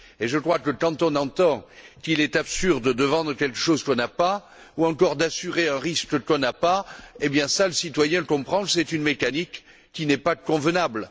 Je crois que, quand il entend qu'il est absurde de vendre quelque chose qu'on n'a pas, ou encore d'assurer un risque qu'on n'a pas, eh bien, là, le citoyen comprend que c'est une mécanique qui n'est pas convenable.